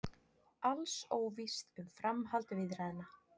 Alls óvíst um framhald viðræðna